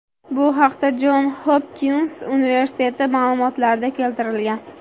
Bu haqda Jon Hopkins universiteti ma’lumotlarida keltirilgan .